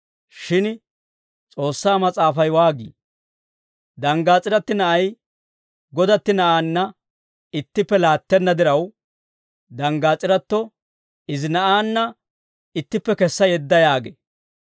Shin S'oossaa Mas'aafay waagii? «Danggaas'iratti na'ay godatti na'aanna ittippe laattenna diraw, danggaas'iratto izi na'aanna ittippe kessa yedda» yaagee.